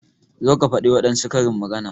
Zo ka faɗi wadansu karin magana!